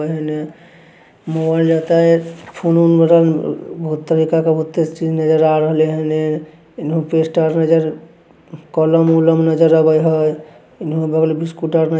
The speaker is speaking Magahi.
मॉल रहते नज़र आ रहल एन्ने कलम-उलम नज़र आ रहल हई।